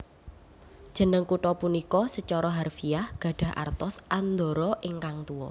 Jeneng kutha punika sacara harfiah gadhah artos Andorra ingkang Tuwa